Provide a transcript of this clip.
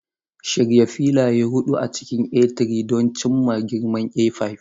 Shirya filaye huɗu a cikin A3 don cimma girman A5.